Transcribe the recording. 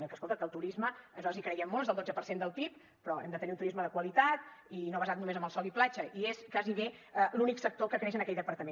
bé que escolta que el turisme nosaltres hi creiem molt és el dotze per cent del pib però hem de tenir un turisme de qualitat i no basat només en el sol i platja i és gairebé l’únic sector que creix en aquell departament